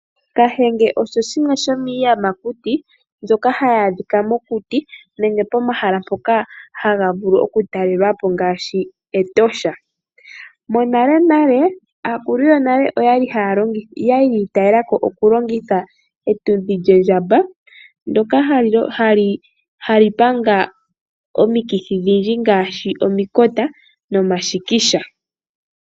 Kahenge osho shimwe shomiiyamakuti mbyoka hayi adhika mokuti nenge pomahala mpoka haga vulu oku talelwapo ngaashi Etosha. Monalenale aakulu yonale oyali yiitayela ko oku longitha etudhi lyondjamba ndjoka hali panga omikithi odhindji ngaashi omikota nomashikisha.